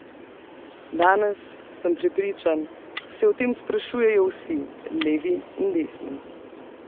Danes, sem prepričan, se o tem sprašujejo vsi, levi in desni.